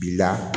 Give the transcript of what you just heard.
Bi la